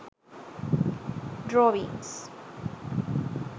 drawings